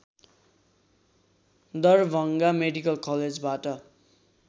Darbhanga medical कलेजबाट